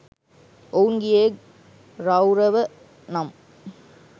ඔවුන් ගියේ රෞරව නම්